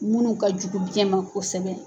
Munnu ka jugu biyɛn ma kosɛbɛ.